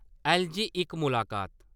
ऐल्ल.जी. इक मुलाकात